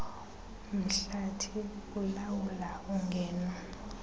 mhlathi ulawula ungeno